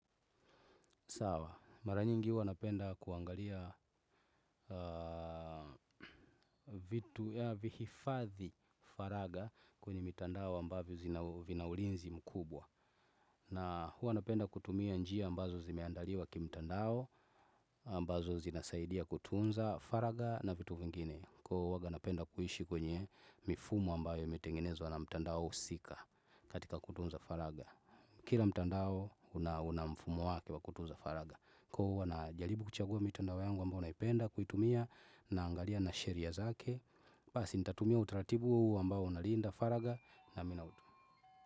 Mara nyingi huwa napenda kuangalia vihifadhi faraga kwenye mitandao ambavyo vina ulinzi mkubwa. Na huwa napenda kutumia njia ambazo zimeandaliwa kimtandao ambazo zinasaidia kutunza faraga na vitu vingine. Kwa hiyo huwanga napenda kuishi kwenye mifumo ambayo imetengenezwa na mtandao husika katika kutunza faraga. Kila mtandao una mfumo wake wa kutunza faraga. Kwa hiyo huwa najaribu kuchagua mitandao yangu ambayo naipenda kuitumia naangalia na sheria zake, basi nitatumia utaratibu ambao unalinda faraga na mina.